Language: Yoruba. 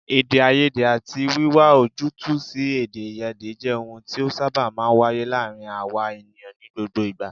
Èdèàìyedè àti wíwá ojútùú sí èdèàìyedè jẹ́ ohun tí ó sábà máa ń wáyé láàárín àwa ènìyàn ní gbogbo ìgbà